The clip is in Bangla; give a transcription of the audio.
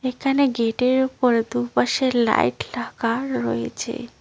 এখানে গেটের ওপরে দুপাশে লাইট লাগা রয়েছে।